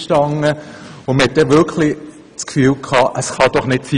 Man dachte, das könne doch nicht sein!